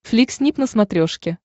флик снип на смотрешке